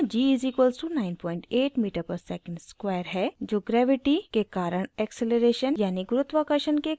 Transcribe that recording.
यहाँ g = 98 metre पर second square है जो ग्रैविटी के कारण ऐक्सेलरेशन यानि गुरुत्वाकर्षण के कारण त्वरण है और